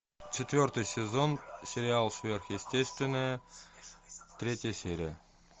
четвертый сезон сериал сверхъестественное третья серия